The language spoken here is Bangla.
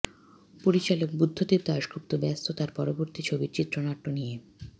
পরিচালক বুদ্ধদেব দাশগুপ্ত ব্যস্ত তাঁর পরবর্তী ছবির চিত্রনাট্য নিয়ে